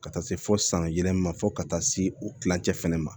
Ka taa se fo san yɛlɛma fo ka taa se o kilancɛ fana ma